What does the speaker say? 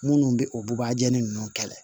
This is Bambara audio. Minnu bɛ o bubajali ninnu kɛlɛ